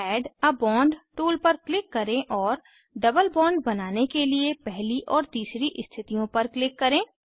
add a bond tool पर click करें और डबल बॉन्ड बनाने के लिए पहली और तीसरी स्थितियों पर क्लिक करें